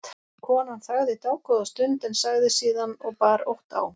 Konan þagði dágóða stund en sagði síðan og bar ótt á